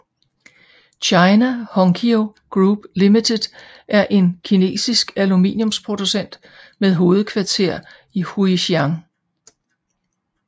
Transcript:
China Hongqiao Group Limited er en kinesisk aluminiumsproducent med hovedkvarter i Huixian